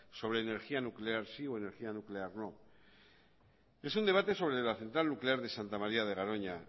sobre energía nuclear sí o energía nuclear no es un debate sobre la central nuclear de santa maría de garoña